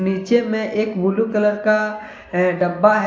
नीचे में एक ब्लू कलर का अह डब्बा है।